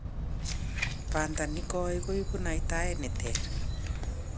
Panta nigoi kuipu naitaet ni ter.